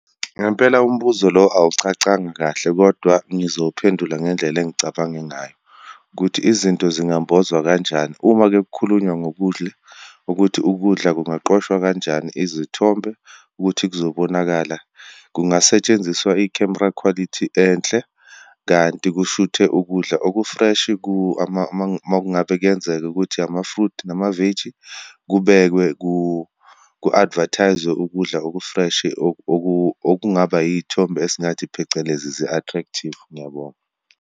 Ngempela umbuzo lo awucacanga kahle kodwa ngizowuphendula ngendlela engicabange ngayo, ukuthi izinto zingambozwa kanjani. Uma-ke kukhulunywa ngokudle, ukuthi ukudla kungaqoshwa kanjani izithombe ukuthi kuzobonakala. Kungasetshenziswa i-camera quality enhle, kanti kushuthwe ukudla oku-fresh uma ngabe kuyenzeka ukuthi ama-fruit namaveji, kubekwe ku-advertise-zwe ukudla oku-fresh, okungaba iyithombe esingathi, phecelezi zi-attractive. Ngiyabonga.